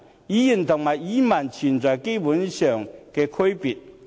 "語言"和"語文"存在本質上的區別。